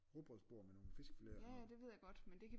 Rugbrødsbord med nogle fiskefileter og sådan noget